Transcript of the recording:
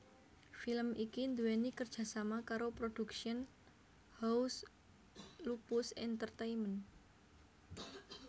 Film iki nduweni kerjasama karo Production House Lupus Entertainment